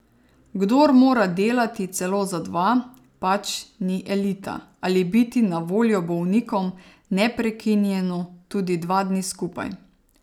Kdor mora delati celo za dva, pač ni elita, ali biti na voljo bolnikom neprekinjeno tudi dva dni skupaj.